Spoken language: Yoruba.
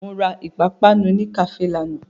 Mo ra ìpapánu ní kàféè lánàá.